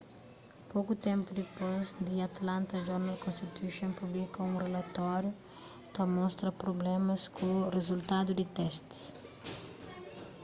poku ténpu dipôs the atlanta journal-constitution publika un rilatóriu ta mostra prublémas ku rizultadu di testis